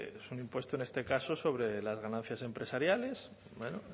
es un impuesto en este caso sobre las ganancias empresariales bueno